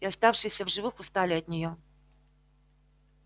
и оставшиеся в живых устали от нее